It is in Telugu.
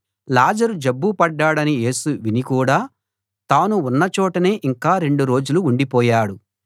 లాజరు జబ్బు పడ్డాడని యేసు విని కూడా తాను ఉన్న చోటనే ఇంకా రెండు రోజులు ఉండిపోయాడు